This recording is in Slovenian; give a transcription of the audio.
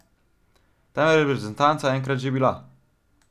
Tam je reprezentanca enkrat že bila.